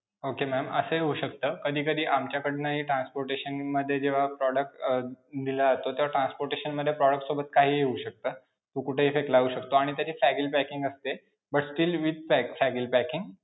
Okay ma'am असं हि होऊ शकतं कधीकधी आमच्याकडनंहि transportation मध्ये जेव्हा product अं दिला जातो तेव्हा transportation मध्ये product सोबत काहीही होऊ शकतं, मग कुठेहि फेकला जाऊ शकतो आणि तरीही fragile packing असते but still with fragile packing